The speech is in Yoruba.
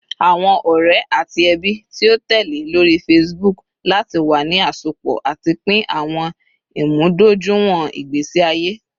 Awọn ọrẹ ati ẹbi ti o tẹle lori Facebook lati wa ni asopọ ati pin awọn imudojuiwọn igbesi aye